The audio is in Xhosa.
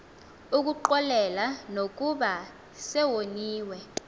ukuxolela nokuba sewoniwe